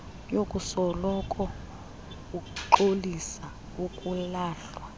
yokusoloko ungxoliswa ukulahlwa